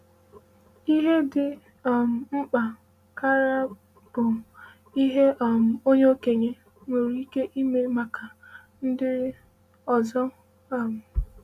“Ihe dị um mkpa karị bụ ihe um onye okenye nwere ike ime maka ndị ọzọ.” um